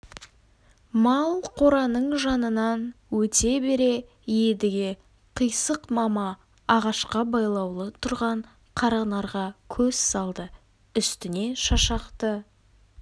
мал қораның жанынан өте бере едіге қисық мама ағашқа байлаулы тұрған қаранарға көз салды үстіне шашақты